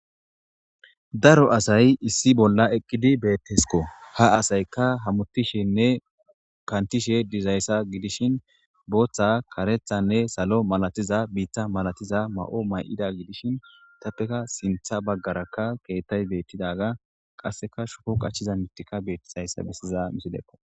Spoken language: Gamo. daro asay issi bolla eqqidi beettesko ha asayka hamutishenne kantishe dizayssa gidishin booththa karethanne salo malatiza biitta malatiza ma'o ma'ida gidishin tappeka sintha baggaraka keettay beettidaga qasseka shuku qachchiza mittika bettizayssa bessiza misileko